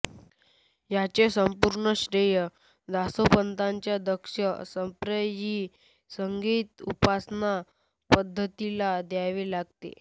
याचे संपूर्ण श्रेय दासोपंताच्या दक्ष संप्रदायी संगीत उपासना पद्धतीला द्यावे लागते